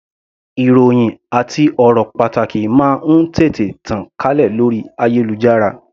Ìròhìn àti ọ̀rọ̀ pàtàkì máa ń tètè tàn kálẹ̀ lórí ayélujára.